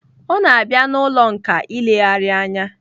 O na-abịa n'ụlọ nkà ilegharị anya.